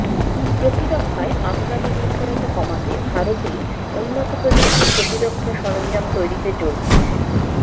প্রতিরক্ষায় আমদানি নির্ভরতা কমাতে ভারতেই উন্নত প্রযুক্তির প্রতিরক্ষা সরঞ্জাম তৈরিতে জোর দিচ্ছে